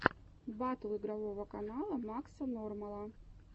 батл игрового канала макса нормала